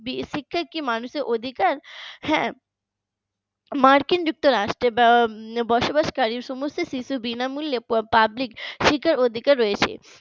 শিক্ষা কি মানুষের অধিকার হ্যাঁ মার্কিন যুক্তরাষ্ট্রের বা বসবাসকারী সমস্ত শিশু বিনামূল্যে শিক্ষার অধিকার রয়েছে